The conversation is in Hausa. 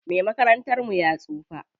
Me makarantar mu ya tsufa.